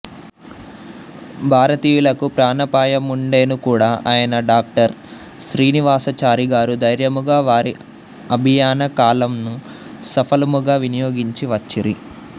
భారతీయులకు ప్రాణాపాయముండెనుకూడా అయినా డా శ్రీనివాసాచారిగారు ధర్యముగా వారి అభియాన కాలంము సఫలముగా వినియోగించి వచ్చిరి